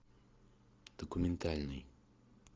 документальный